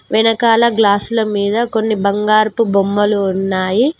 వెనకాల గ్లాసుల మీద కొన్ని బంగారపు బొమ్మలు ఉన్నాయి.